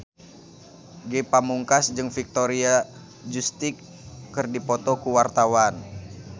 Ge Pamungkas jeung Victoria Justice keur dipoto ku wartawan